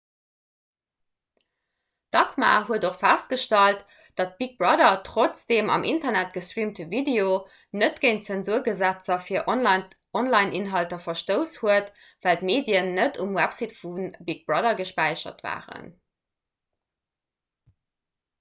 d'acma huet och festgestallt datt big brother trotz dem am internet gestreamte video net géint zensurgesetzer fir onlineinhalter verstouss hat well d'medien net um website vu big brother gespäichert waren